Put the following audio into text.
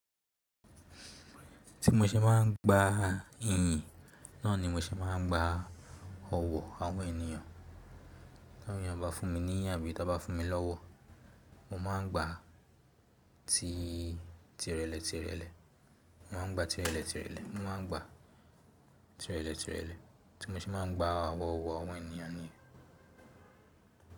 Tí mo ṣe máa ń gba ìyìn, náà ni mo ṣe máa ń gba ọ̀wọ̀ àwọn ènìyàn. Tí àwọn ènìyàn bá fún mi ní ìyìn àbí tó bá fún mi lówó, mo máa ń gba ti irele tirele. Mo máa ń gba ti irele tirele. Mo máa ń gba ti irele tirele. Tí mo ṣe máa ń gba ọ̀wọ̀ ọ̀wọ̀ àwọn ènìyàn ni.